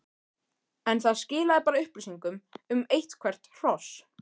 en það skilaði bara upplýsingum um eitthvert hross.